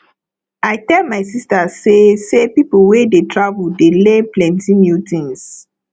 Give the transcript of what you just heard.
i tell my sista sey sey pipo wey dey travel dey learn plenty new tins